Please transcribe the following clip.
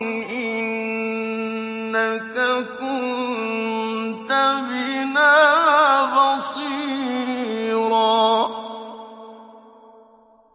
إِنَّكَ كُنتَ بِنَا بَصِيرًا